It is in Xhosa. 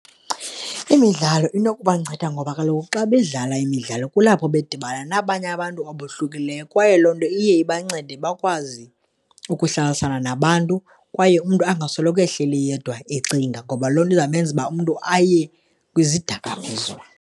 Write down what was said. Imidlalo inokubanceda ngoba kaloku xa bedlala imidlalo kulapho bedibana nabanye abantu abohlukileyo kwaye loo nto iye ibancede bakwazi ukuhlalisana nabantu kwaye umntu angasoloko ehleli yedwa ecinga, ngoba loo nto izawumenza uba umntu aye kwizidakamiswa.